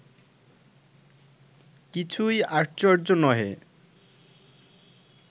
কিছুই আশ্চর্য্য নহে